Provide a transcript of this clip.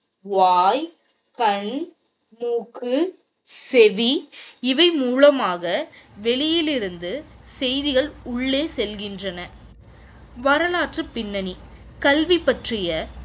வாய், கண், மூக்கு, செவி இவை மூலமாக வெளியிலிருந்து செய்திகள் உள்ளே செல்கின்றன. வரலாற்று பின்னணி கல்வி பற்றிய